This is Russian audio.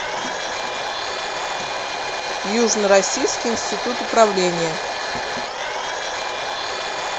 южно российский институт управления